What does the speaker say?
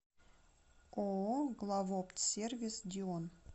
ооо главоптсервис дион